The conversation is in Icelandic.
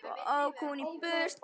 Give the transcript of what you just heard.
Svo ók hún í burtu.